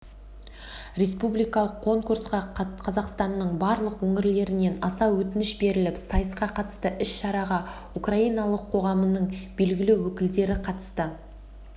республикалық конкурсқа қазақстанның барлық өңірлерінен аса өтініш беріліп сайысқа қатысты іс-шараға украиналық қоғамның белгілі өкілдері қатысты